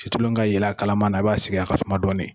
Situlu ka yelen a kalama na, i b'a sigi a ka suma dɔɔni.